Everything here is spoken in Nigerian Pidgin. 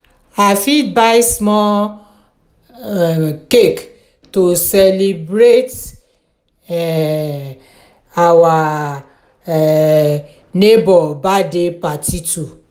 i fit buy small um cake to celebrate um our um neighbor birthday too.